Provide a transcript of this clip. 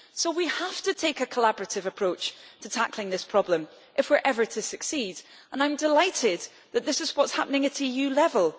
We have to take a collaborative approach to tackling this problem if we are ever to succeed, and I am delighted that this is what is happening at EU level.